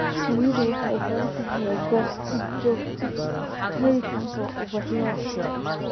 Shinnidu waxay u baahan tahay goobo si joogto ah u heli kara ubaxyo.